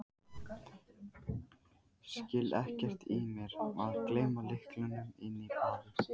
Skil ekkert í mér að gleyma lyklunum inni á baði!